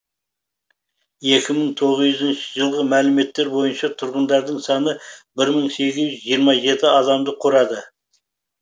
екі мың тоғызыншы жылғы мәліметтер бойынша тұрғындарының саны бір мың сегіз жүз жиырма жеті адамды құрады